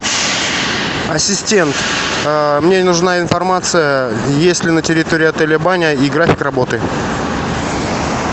ассистент мне нужна информация есть ли на территории отеля баня и график работы